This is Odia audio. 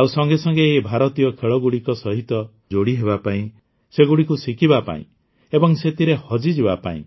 ଆଉ ସଙ୍ଗେ ସଙ୍ଗେ ଏହି ଭାରତୀୟ ଖେଳଗୁଡ଼ିକ ସହିତ ଯୋଡ଼ି ହେବା ପାଇଁ ସେଗୁଡ଼ିକୁ ଶିଖିବା ପାଇଁ ଏବଂ ସେଥିରେ ହଜିଯିବା ପାଇଁ